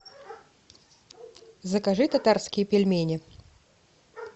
закажи татарские пельмени